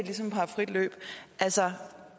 ligesom har frit løb altså